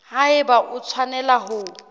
ha eba o tshwanela ho